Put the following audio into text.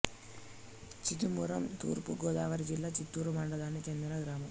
చిదుమురుం తూర్పు గోదావరి జిల్లా చింతూరు మండలానికి చెందిన గ్రామం